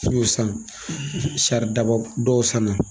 n y'o san saridaba dɔw sanna